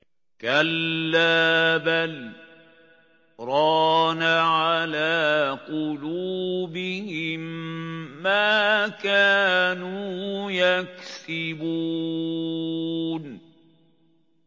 كَلَّا ۖ بَلْ ۜ رَانَ عَلَىٰ قُلُوبِهِم مَّا كَانُوا يَكْسِبُونَ